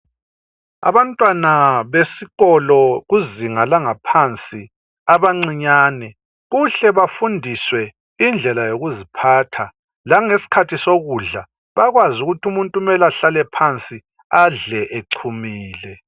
Abantwana besikolo kuzinga langaphansi abancinyane kuhle bafundiswe indlela yokuziphatha langesikhathi sokudla bakwazi ukuthi umuntu kumele ahlale phansi adle echumile.